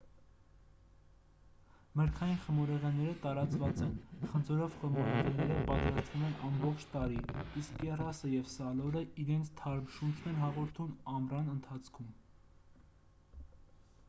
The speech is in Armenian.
մրգային խմորեղենները տարածված են խնձորով խմորեղենները պատրաստվում են ամբողջ տարի իսկ կեռասը և սալորը իրենց թարմ շունչ են հաղորդում ամռան ընթացքում